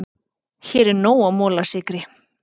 Hér var nóg af molasykri.